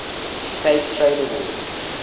tape trader world